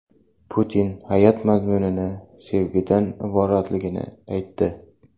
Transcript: Putin hayot mazmuni sevgidan iboratligini aytdi.